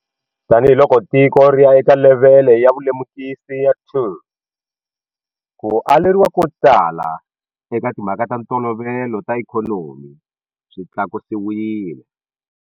Tanihi loko tiko ri ya eka levhele ya vulemukisi ya 2, ku aleriwa kotala eka timha ka ta ntolovelo na ikhonomi swi tlakusiwile.